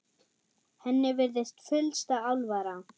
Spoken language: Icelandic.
Henni virðist fyllsta alvara.